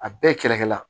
A bɛɛ kɛrɛkɛ la